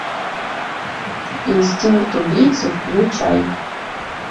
инстинкт убийцы включай